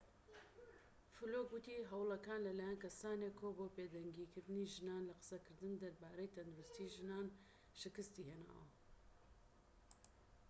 فلوك وتی هەوڵەکان لەلایەن کەسانێکەوە بۆ بێدەنگ کردنی ژنان لە قسەکردن دەربارەی تەندروستیی ژنان شکستی هێناوە